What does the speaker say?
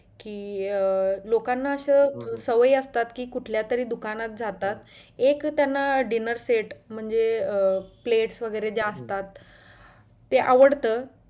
कि अं लोकांना असं सवयी असतात कि कुठल्या तरी दुकानात जातात एक त्यांना dinner set म्हणजे plates अं plates वगैरे ज्या असतात ते आवडतं